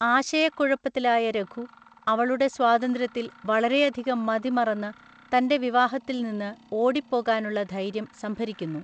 ആശയക്കുഴപ്പത്തിലായ രഘു, അവളുടെ സ്വാതന്ത്ര്യത്തിൽ വളരെയധികം മതിമറന്ന് തന്റെ വിവാഹത്തിൽ നിന്ന് ഓടിപ്പോകാനുള്ള ധൈര്യം സംഭരിക്കുന്നു.